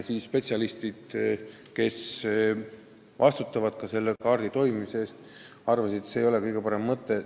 Aga spetsialistid, kes vastutavad selle kaardi toimimise eest, arvasid, et see ei ole kõige parem mõte.